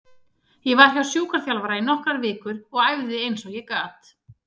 Ég var hjá sjúkraþjálfara í nokkrar vikur og æfði eins og ég gat.